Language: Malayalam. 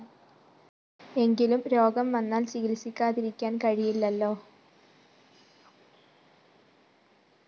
എങ്കിലും രോഗം വന്നാല്‍ ചികിത്സിക്കാതിരിക്കാന്‍ കഴിയില്ലല്ലോ